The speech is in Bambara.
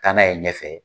Taa n'a ye ɲɛfɛ